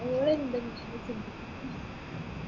ഓളെന്താ ഇങ്ങനെ ചിന്തിച്ചിരിക്കണ്